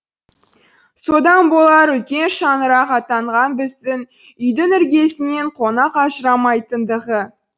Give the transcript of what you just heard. содан болар үлкен шаңырақ атанған біздің үйдің іргесінен қонақ ажырамайтындығы